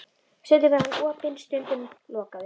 Stundum er hann opinn, stundum lokaður.